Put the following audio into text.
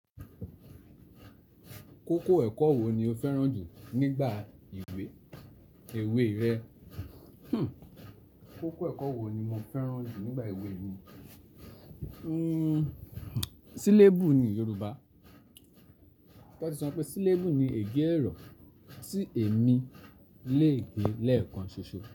Kókó ẹ̀kọ́ wo ni o fẹ́ràn jù nígbà ìwé èwe rẹ? Kókó ẹ̀kọ́ wo ni mo fẹ́ràn jù nígbà éwe mi? Sílébù ní Yorùbá. Wọ́n ti sọ pé sílébù ni ègé ọ̀rọ̀ tí èmi le è gé lẹ́ẹ̀kan ṣoṣo.